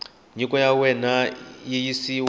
nyiko ya wena yi yisiwa